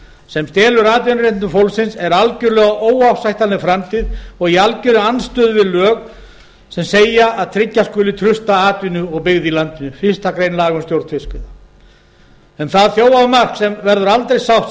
sem stelur atvinnuréttindum fólksins er algjörlega óásættanleg framtíð og í algjörri andstöðu við lög sem segja að tryggja skuli trausta atvinnu og byggð í landinu samkvæmt fyrstu grein fiskveiðistjórnarlaga um það þjófamark verður aldrei sátt